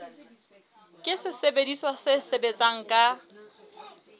ke sesebediswa se sebetsang ka